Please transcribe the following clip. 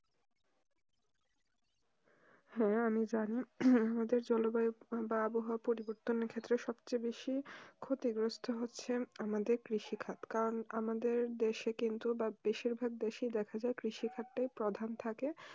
হ্যাঁ আমি যানি আমাদের জলবায়ু বা আবহাওয়া পরিবর্তনের ক্ষেত্রের সবচেয়ে বেশি ক্ষতি গ্রস্ত হচ্ছে আমাদের কৃষি খাদ যে কারণ আমাদের দেশে কিন্তু বেশি ভাগ দেশে দেখা যায় কৃষি খাদ টাই প্রধান থাকে